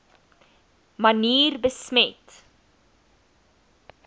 manier besmet